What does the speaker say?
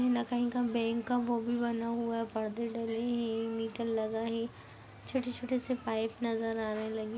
न कहीं का बैंक का वो भी बना हुआ है पर्दे डले हैं मीटर लगा है छोटे -छोटे से पाइप नजर आने लगे--